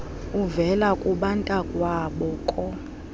uvela kubantakwabo koo